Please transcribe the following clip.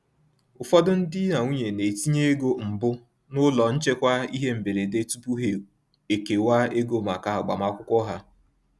Ụfọdụ di na nwunye na-etinye ego mbụ n’ụlọ nchekwa ihe mberede tupu ha ekewa ego maka agbamakwụkwọ ha.